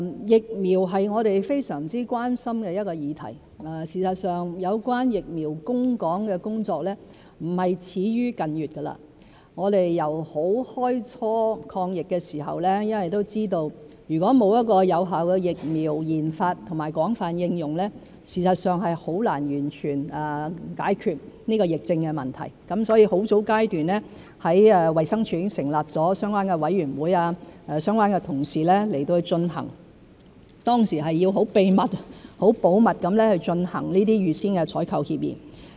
疫苗是我們非常關心的議題，事實上，有關疫苗供港的工作並非始於近月，我們由開初抗疫時都知道，如果沒有有效的疫苗研發和廣泛應用，事實上是很難完全解決這個疫症問題，所以在很早階段，衞生署已經成立了相關的委員會，由相關的同事進行有關工作，當時是要很秘密、很保密地進行這些預先採購協議。